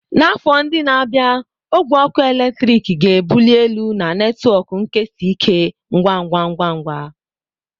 N'afọ ndị na-abịa, ogwe ọkụ eletrik ga-ebuli elu na netwọk nkesa ike ngwa ngwa.